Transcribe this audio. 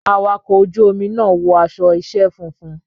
Awakọ̀ ojú omi náà wọ aṣọ iṣẹ́ funfun.